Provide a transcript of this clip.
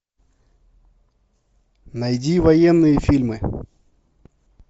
найди военные фильмы